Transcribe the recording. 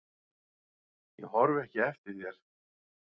Ég horfi ekki eftir þér.